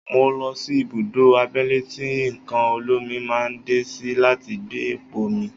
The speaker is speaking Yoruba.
Mo lọ sí ibùdó abẹ́lé tí nǹkan olómi máa ń dé sí láti gbé epo mi.